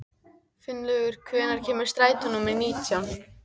Finnlaugur, hvenær kemur strætó númer nítján?